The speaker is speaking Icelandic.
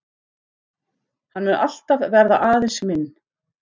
Hann mun alltaf verða aðeins minn.